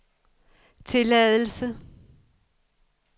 tilladelse